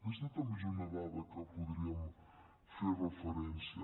aquesta també és una dada a què podríem fer referència